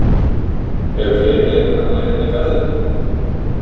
Eru fleiri leikmenn á leiðinni í Garðinn?